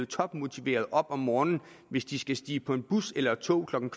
topmotiverede op om morgenen hvis de skal stige på en bus eller et tog klokken